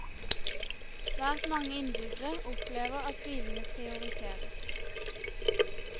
Svært mange innbyggere opplever at bilene prioriteres.